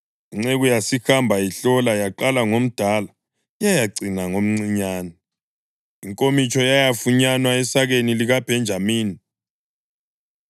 Inceku yasihamba ihlola, yaqala ngomdala yayacina ngomcinyane. Inkomitsho yayafunyanwa esakeni likaBhenjamini.